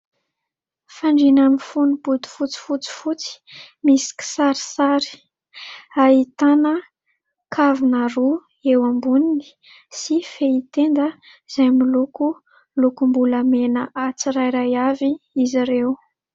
Fandriana mifono bodifotsy fotsifotsy misy kisarisary, ahitana kavina roa eo amboniny sy fehy tenda izay miloko lokombolamena tsirairay avy izy ireo.